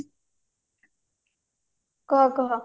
କ କହ